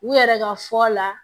U yɛrɛ ka fɔ la